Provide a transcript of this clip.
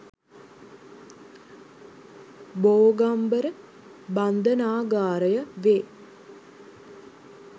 බෝගම්බර බන්ධනාගාරය වේ.